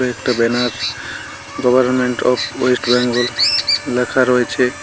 একটা banner government of West Bengal লেখা রয়েছে।